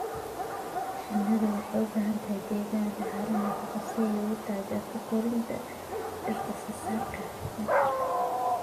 Shinnidu waxay u baahan tahay deegaan leh carro nafaqo leh si ay u taageerto koritaanka dhirta soo saarta nectar.